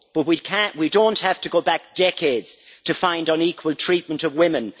We do not have to go back decades to find unequal treatment of women.